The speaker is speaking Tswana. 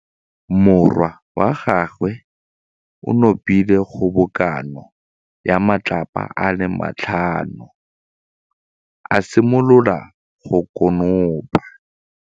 Morwa wa gagwe o nopile kgobokanô ya matlapa a le tlhano, a simolola go konopa.